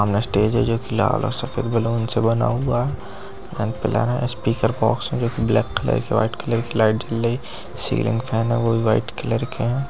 सामने स्टेज है जो की लाल और सफेद बलून से बना हुआ है| स्पीकर बॉक्स है जो ब्लैक कलर की वाइट कलर की लाइट जल रही है| सीलिंग फैन है वो भी वाइट कलर के हैं।